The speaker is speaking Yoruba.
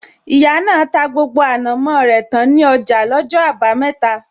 Ìyá náà ta gbogbo ànàmó rẹ tán ní ọjà lọ́jọ́ abameta